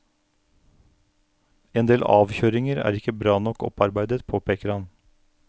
Endel avkjøringer er ikke bra nok opparbeidet, påpeker han.